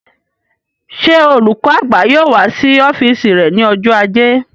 Ṣé olùkọ́ àgbà náà yóò wà ní ọ́fìsì rẹ̀ ní ọjọ́ ajé